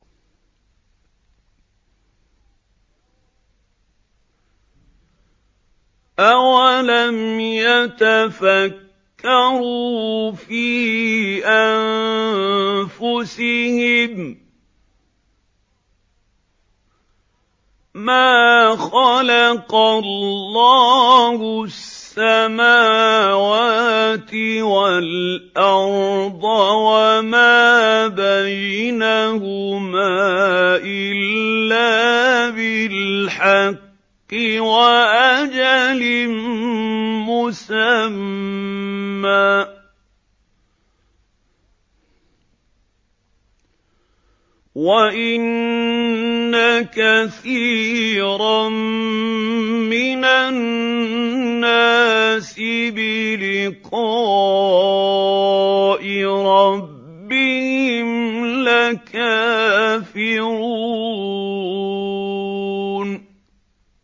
أَوَلَمْ يَتَفَكَّرُوا فِي أَنفُسِهِم ۗ مَّا خَلَقَ اللَّهُ السَّمَاوَاتِ وَالْأَرْضَ وَمَا بَيْنَهُمَا إِلَّا بِالْحَقِّ وَأَجَلٍ مُّسَمًّى ۗ وَإِنَّ كَثِيرًا مِّنَ النَّاسِ بِلِقَاءِ رَبِّهِمْ لَكَافِرُونَ